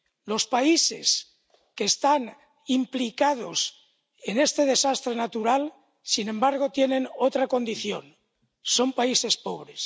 Los países que están implicados en este desastre natural, sin embargo, tienen otra condición. Son países pobres.